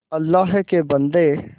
अल्लाह के बन्दे